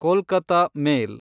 Kolkata ಮೇಲ್